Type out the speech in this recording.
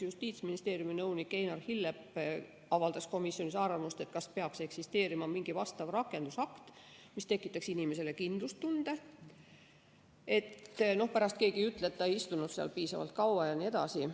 Justiitsministeeriumi nõunik Einar Hillep avaldas komisjonis arvamust, et peaks eksisteerima mingi rakendusakt, mis tekitaks inimesele kindlustunde, et pärast keegi ei ütle, et ta ei istunud seal piisavalt kaua jne.